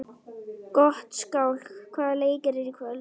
Gottskálk, hvaða leikir eru í kvöld?